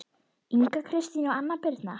Inga Kristín og Anna Birna